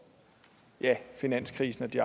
finanskrisen og de